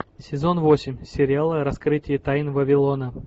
сезон восемь сериала раскрытие тайн вавилона